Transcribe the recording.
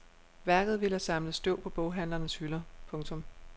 Værket ville have samlet støv på boghandlernes hylder. punktum